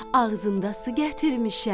Ağzımda su gətirmişəm.